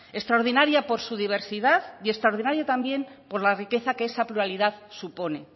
extraordinaria por su diversidad y extraordinaria también por la riqueza que esa pluralidad supone